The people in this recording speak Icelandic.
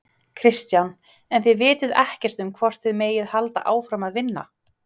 Kristján: En þið vitið ekkert um hvort þið megið halda áfram að vinna?